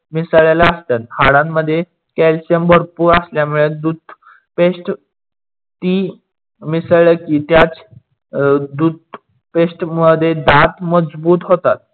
मिसडल्या असतात. हाडांमध्ये Calcium भरपूर असलयामुडे दूध Paste ती मिसडले की त्याच दूध Paste मध्ये दात मजबूत होतात.